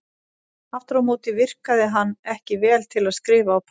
Aftur á móti virkaði hann ekki vel til að skrifa á pappír.